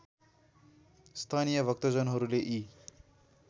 स्थानीय भक्तजनहरूले यी